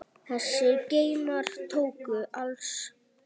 Þessir geymar tóku alls